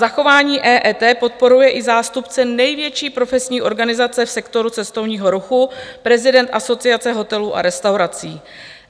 Zachování EET podporuje i zástupce největší profesní organizace v sektoru cestovního ruchu, prezident Asociace hotelů a restauraci.